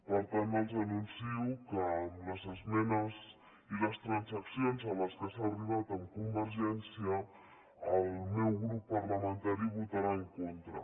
per tant els anuncio que amb les esmenes i les transaccions a què s’ha arribat amb convergència el meu grup parlamentari hi votarà en contra